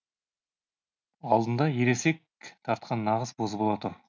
алдында ересек тартқан нағыз бозбала тұр